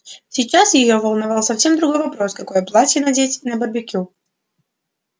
сейчас её волновал совсем другой вопрос какое платье надеть на барбекю